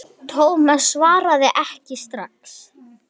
Thomas svaraði ekki strax.